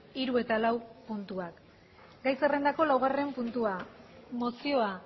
hiru eta lau puntuak gai zerrendako laugarren puntua mozioa